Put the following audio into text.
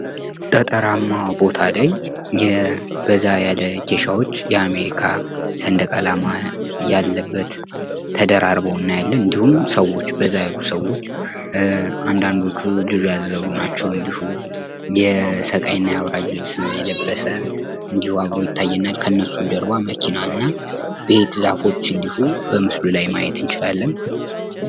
ገጠራማ ቦታ ላይ በዛ ያለ ኬሻዎች የአሜሪካ ሰንደቅ አላማ ያለበት ተደራርቦ እናያለን። እንድሁም ሰዎች በዛ ያሉ ሰዎች አንዳንዶቹ ልጅ ያዘሉ ናቸው። የሰቃይና የአውራጅ ልብስ የለበሰ እንድሁ ይታየናል። ከነሱ ጀርባ መኪናና ዛፎች እንድሁ በምስሉ ላይ ማየት እንችላለን።